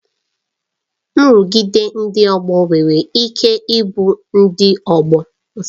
Nrụgide ndị ọgbọ nwere ike ịbụ ndị ọgbọ